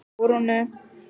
Hún fer á böll!